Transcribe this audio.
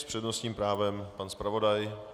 S přednostním právem pan zpravodaj.